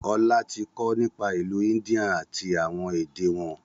Ọlá tí kọ nípa ìlú India àti àwọn èdè wọn